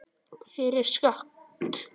Fyrir skatt.